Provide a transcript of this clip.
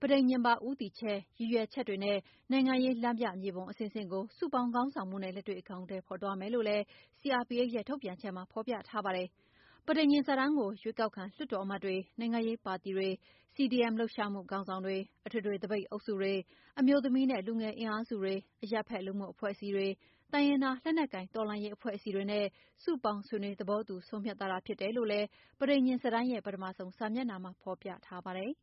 ပဋိညာဉ်ပါ ဦးတည်ချက်၊ ရည်ရွယ်ချက်တွေနဲ့နိုင်ငံရေး လမ်းမြမြေပုံအဆင့်ဆင့်ကို စုပေါင်းခေါင်းဆောင်မှုနဲ့ လက်တွေ့အကောင်အထည်ဖော်သွားမယ် လို့လည်း CRPH ရဲ့ထုတ်ပြန်ချက်မှာ ဖော်ပြထားပါတယ်။ ပဋိညာဉ်စာတမ်းကို ရွေးကောက်ခံလွှတ်တော်အမတ်တွေ၊ နိုင်ငံရေးပါတီတွေ၊ CDM လှုပ်ရှားမှုခေါင်းဆောင်တွေ၊ အထွေထွေသပိတ်အုပ်စုတွေ၊ အမျိုးသမီး နဲ့လူငယ်အင်အားစုတွေ၊ အရပ်ဖက်လူမှုအဖွဲ့အစည်းတွေ၊ တိုင်းရင်းသား လက်နက်ကိုင်တော်လှန်ရေးအဖွဲ့အစည်တွေနဲ့ စုပေါင်းဆွေးနွေးသဘောတူ ဆုံးဖြတ်ထားတာဖြစ်တယ်လို့လည်း စာတမ်းရဲ့ ပထမဆုံး စာမျက်နှာမှာ ဖော်ပြထားပါတယ်။